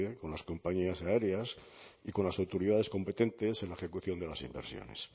con las compañías aéreas y con las autoridades competentes en la ejecución de las inversiones